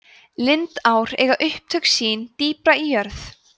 lindár eiga upptök sín dýpra í jörð